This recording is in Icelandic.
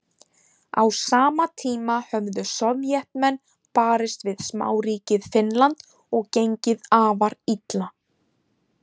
Á sama tíma höfðu Sovétmenn barist við smáríkið Finnland og gengið afar illa.